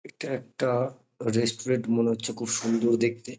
এটা একটা রেসটুরেন্ট মনে হচ্ছে খুব সুন্দর দেখতে